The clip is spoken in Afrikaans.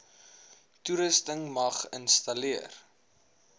toerusting mag installeer